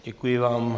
Děkuji vám.